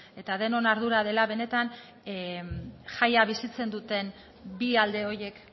eta denon ardura dela benetan jaia bizitzen duten bi alde horiek